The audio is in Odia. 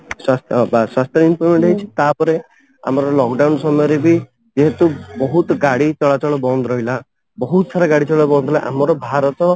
ସ୍ୱାସ୍ଥ୍ୟ ବି ସ୍ୱାସ୍ଥ୍ୟ ଜିନିଷ ବି ହେଇଛି ତାପରେ ଆମର lock down ସମୟରେ ବି ଯେହେତୁ ବହୁତ ଗାଡି ଚଳାଚଳ ବନ୍ଦ ରହିଲା ବହୁତ ସାରା ଗାଡି ଚଳାଚଳ ବନ୍ଦ ରହିଲା ତ ଆମର ଭାରତ